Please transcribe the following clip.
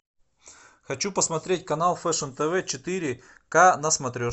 хочу посмотреть канал фэшн тв четыре ка на смотрешке